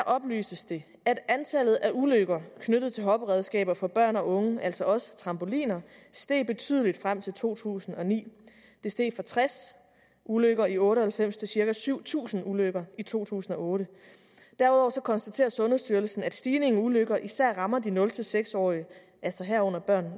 oplyses det at antallet af ulykker knyttet til hopperedskaber for børn og unge altså også trampoliner er steget betydeligt frem til to tusind og ni det steg fra tres ulykker i nitten otte og halvfems til cirka syv tusind ulykker i to tusind og otte derudover konstaterer sundhedsstyrelsen at stigningen i ulykker især rammer de nul seks årige altså herunder